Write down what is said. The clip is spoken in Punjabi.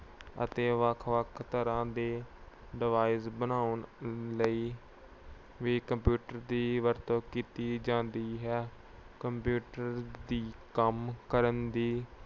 ਅਤੇ ਵੱਖ-ਵੱਖ ਤਰ੍ਹਾਂ ਦੇ device ਬਣਾਉਣ ਲਈ ਵੀ computer ਦੀ ਵਰਤੋਂ ਕੀਤੀ ਜਾਂਦੀ ਹੈ। computer ਦੀ ਕੰਮ ਕਰਨ ਦੀ